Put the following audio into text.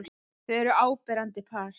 Þau eru áberandi par.